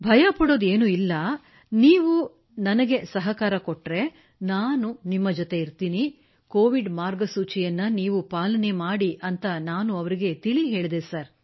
ಭಯಪಡುವುದ ಏನೂ ಇಲ್ಲ ನೀವು ನನಗೆ ಸಹಕಾರ ನೀಡಿ ನಾನು ನಿಮ್ಮ ಜತೆ ಇರುತ್ತೇನೆ ನೀವು ಕೋವಿಡ್ ಮಾರ್ಗಸೂಚಿ ಪಾಲನೆ ಮಾಡಿ ಎಂದು ನಾನು ಅವರಿಗೆ ತಿಳಿಹೇಳಿದೆ ಸರ್